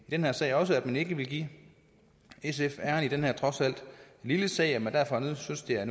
her sag også at man ikke vil give sf æren i den her trods alt lille sag og derfor synes det er